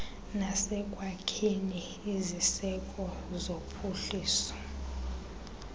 nasekwakheni iziseko zokuphuhlisa